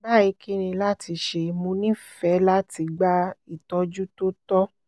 bayi kini lati ṣe? mo nifẹ lati gba itọju to tọ